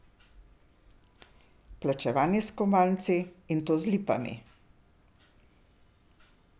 Plačevanje s kovanci, in to z lipami.